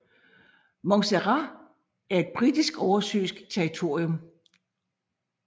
Montserrat er et Britisk oversøisk territorium